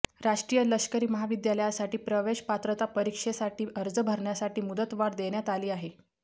राष्ट्रीय लष्करी महाविद्यालयासाठी प्रवेशपात्रता परीक्षेसाठी अर्ज भरण्यासाठी मुदतवाढ देण्यात आली आहे